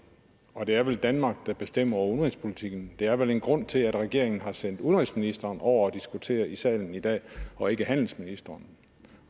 og det er vel danmark der bestemmer over udenrigspolitikken der er vel en grund til at regeringen har sendt udenrigsministeren over for at diskutere i salen i dag og ikke handelsministeren